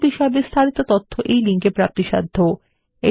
এই বিষয় বিস্তারিত তথ্য এই লিঙ্ক এ প্রাপ্তিসাধ্য